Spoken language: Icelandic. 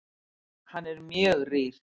Hann er mjög rýr.